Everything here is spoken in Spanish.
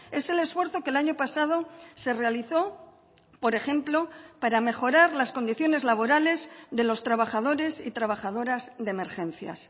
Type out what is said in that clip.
es el esfuerzo que el año pasado se realizó por ejemplo para mejorar las condiciones laborales de los trabajadores y trabajadoras de emergencias